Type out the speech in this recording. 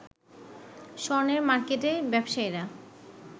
স্বর্ণের মার্কেটে ব্যবসায়ীরা